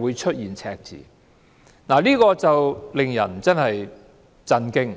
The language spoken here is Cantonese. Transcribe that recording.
會出現赤字，這實在令人感到震驚。